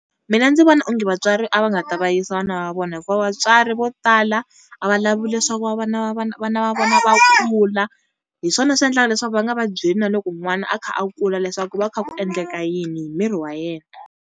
Mina ndzi vona onge vatswari a va nga ta va yisa vana va vona. Hikuva vatswari vo tala a va lavi leswaku vana va vona vana va vona va kula hi swona swi endlaka leswaku va nga va byeli na loko n'wana a kha a kula leswaku ku va kha ku endleka yini hi miri wa yena.